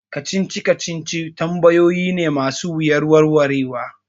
Kacici kacici tambayoyi ne ma su wuyar warwarewa